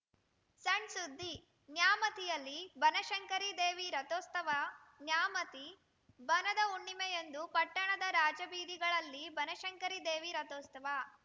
ಸಣ್‌ ಸುದ್ದಿ ನ್ಯಾಮತಿಯಲ್ಲಿ ಬನಶಂಕರಿ ದೇವಿ ರಥೋತ್ಸವ ನ್ಯಾಮತಿ ಬನದ ಹುಣ್ಣಿಮೆಯಂದು ಪಟ್ಟಣದ ರಾಜಬೀದಿಗಳಲ್ಲಿ ಬನಶಂಕರಿ ದೇವಿ ರಥೋತ್ಸವ